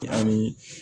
Ani